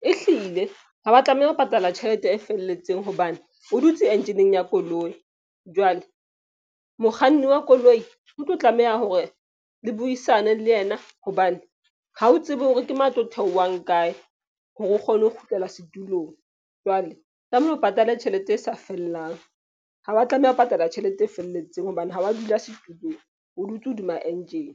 E hlile ha wa tlameha ho patala tjhelete e felletseng hobane o dutse enjeneng ya koloi. Jwale mokganni wa koloi o tlo tlameha hore le buisane le yena. Hobane ha o tsebe hore ke mang a tlo theohang kae hore o kgone ho kgutlela setulong. Jwale tlamehile o patale tjhelete e sa fellang. Ha wa tlameha ho patala tjhelete e felletseng hobane ha wa dula setulong. O dutse hodima engine